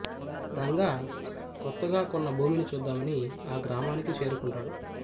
రంగా కొత్తగా కొన్న భూమిని చూద్దామని ఆ గ్రామానికి చేరుకుంటాడు